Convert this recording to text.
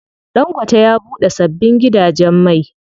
Ɗangote ya buɗe sabbin gidajen mai.